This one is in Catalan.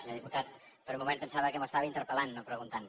senyor diputat per un moment pensava que m’estava interpel·lant no preguntant